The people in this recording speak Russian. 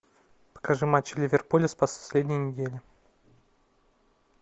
покажи матч ливерпуля с последней недели